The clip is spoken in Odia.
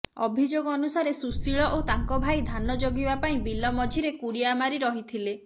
ଅଭିଯୋଗ ଅନୁସାରେ ସୁଶୀଳ ଓ ତାଙ୍କ ଭାଇ ଧାନ ଜଗିବା ପାଇଁ ବିଲ ମଝିରେ କୁଡ଼ିଆ ମାରି ରହିଥିଲେ